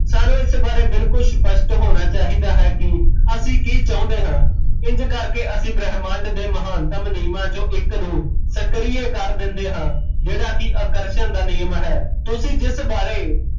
ਸਾਨੂ ਇਸ ਬਾਰੇ ਬਿਲਕੁਲ ਸਪਸ਼ਟ ਹੋਣਾ ਚਾਹੀਦਾ ਹੈ ਕਿ ਅਸੀਂ ਕਿ ਚਾਹੁੰਦੇ ਹਾਂ ਇੰਜ ਕਰ ਕੇ ਅਸੀਂ ਬ੍ਰਹਮੰਡ ਦੇ ਮਹੱਤਵ ਨਿਯਮਾਂ ਚੋਂ ਇੱਕ ਨੂ ਸੁਕ੍ਰਿਏ ਕਰ ਦਿੰਦੇ ਹਾਂ ਜਿਹੜਾ ਕੀ ਆਕਰਸ਼ਣ ਦਾ ਨਿਯਮ ਹੈ ਤੁਸੀਂ ਜਿਸ ਬਾਰੇ